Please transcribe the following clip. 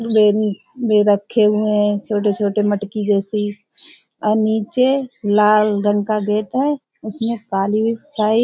में रखे हुए हैं छोटे-छोटे मटकी जैसी और नीचे लाल रंग का गेट है उसमें --